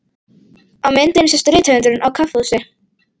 Á myndinni sést rithöfundurinn á kaffihúsi.